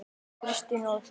Kristín og Þóra.